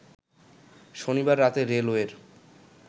শনিবার রাতে রেলওয়ের